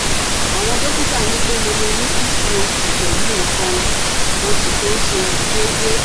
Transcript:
Àwọn dọ́kítà ní pé mo lè ní pcod pẹ̀lú nǹkan oṣù tó ṣe déédé